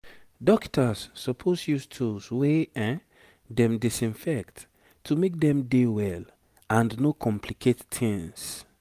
dokita's suppose use tools wey dem disinfect to make dem dey well and no complicate tings